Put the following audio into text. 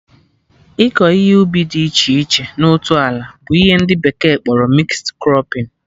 Ịkọ ihe ubi dị iche iche na otu ala bụ ihe ndị bekee kpọrọ mixed crọpping